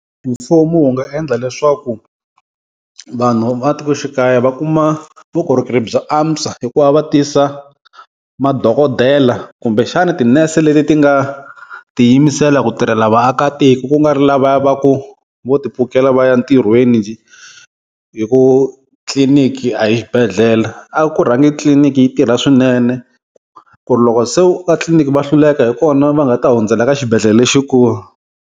Mfumo wu nga endla leswaku vanhu va matikoxikaya va kuma vukorhokeri bya antswa, hikuva va tisa madokodela kumbexana tinese leti ti nga ti yimisela ku tirhela vaakatiko, kungari lavaya va ku vo ti pfukela va ya ntirhweni hi ku tliliniki a hi xibedhlele. A ku rhangi tliliniki yi tirha swinene ku ri loko se u fika tliliniki va hluleka hikona va nga ta hundzela ka xibedhlele lexikulu.